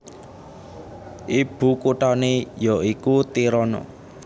Ibukuthané ya iku Tirana